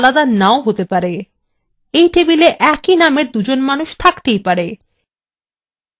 একই table একই নামের দুজন মানুষ থাকতেই পারে